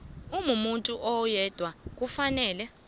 umuntu oyedwa kufanele